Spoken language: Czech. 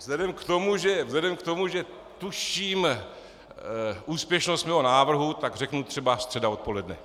Vzhledem k tomu, že tuším úspěšnost svého návrhu, tak řeknu třeba středa odpoledne.